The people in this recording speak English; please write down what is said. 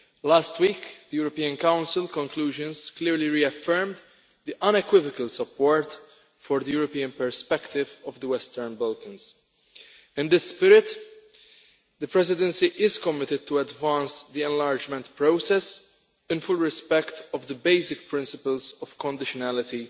Last week the European Council conclusions clearly reaffirmed the unequivocal support for the European perspective of the Western Balkans. In this spirit, the Presidency is committed to advancing the enlargement process in full respect of the basic principles of conditionality